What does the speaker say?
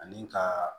Ani ka